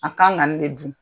A kan ka nin de dun..